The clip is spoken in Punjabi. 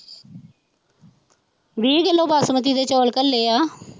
ਵੀਹ ਕਿਲੋ ਬਾਸਮਤੀ ਦੇ ਚੋਲ ਕਲੇ ਹੈ।